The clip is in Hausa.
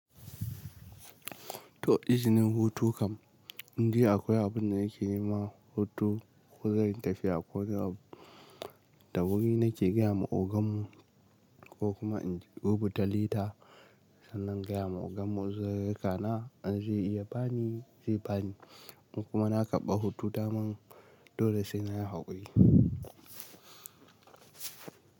To izinin hutu kam, indai akwai abun da yake yi ma hutu ko zan yi tafiya ko da dawuri nake gaya ma ogan mu ko kuma in rubuta lita sannan gaya ma ogan mu zai raka na zai iya bani zai bani kuma na ƙabar hutu damin dole sai na haƙuri.